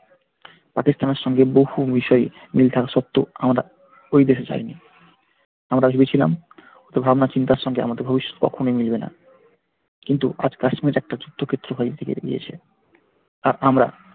পাকিস্তানের সঙ্গে বহু বিষয়ে মিল তাল সত্বেও আমরা ওই দেশে যায়নি আমরা ভেবেছিলাম ওদের ভাবনা-চিন্তার সম্বন্ধে আমাদের কখনোই মিলবে না কিন্তু আজ কাশ্মীর একটা যুদ্ধক্ষেত্রে হয়ে গিয়েছে আর আমরা,